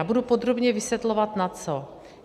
A budu podrobněji vysvětlovat na co.